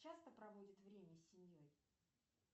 часто проводит время с семьей